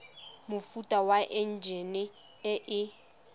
mofuta wa enjine e e